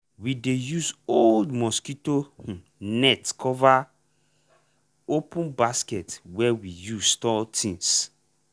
we dey use old mosquito um net cover open basket wey we use store things.